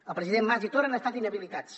els presidents mas i torra han estat inhabilitats